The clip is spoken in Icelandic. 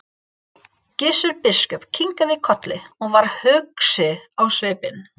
Gissur biskup kinkaði kolli og varð hugsi á svipinn.